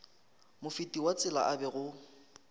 mofeti wa tsela a bego